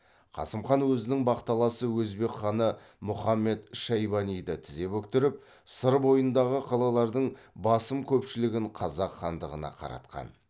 қасым хан өзінің бақталасы өзбек ханы мухаммед шайбаниді тізе бүктіріп сыр бойындағы қалалардың басым көпшілігін қазақ хандығына қаратқан